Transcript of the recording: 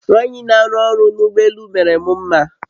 Nwanyị n'arụ ọrụ n'ụgbọ elù mere m mma